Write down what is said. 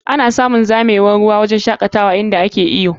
Ana samun zamewar ruwa a wurin shakatawa inda suke wurin iyo.